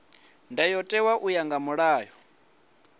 ndayotewa u ya nga mulayo